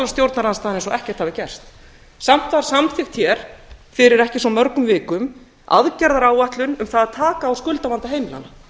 stjórnarandstaðan eins og ekkert hafi gerst samt var samþykkt hér fyrir ekki svo mörgum vikum aðgerðaráætlun um það að taka á skuldavanda heimilanna